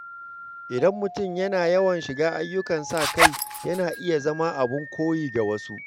Idan mutum yana yawan shiga ayyukan sa-kai, yana iya zama abin koyi ga wasu.